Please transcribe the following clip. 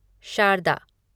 Sharda